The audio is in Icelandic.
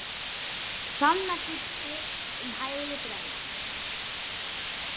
Sama gilti um Hægri græna.